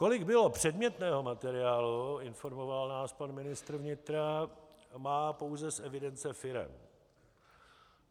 Kolik bylo předmětného materiálu, informoval nás pan ministr vnitra, má pouze z evidence firem.